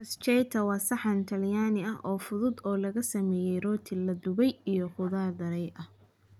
Bruschetta waa saxan talyaani ah oo fudud oo lagu sameeyay rooti la dubay iyo khudaar daray ah.